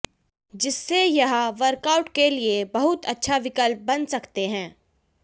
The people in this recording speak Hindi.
जिससे यह वर्कआउट के लिए बहुत अच्छा विकल्प बन सकते है